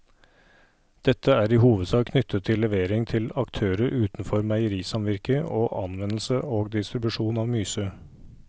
Dette er i hovedsak knyttet til levering til aktører utenfor meierisamvirket og anvendelse og distribusjon av myse.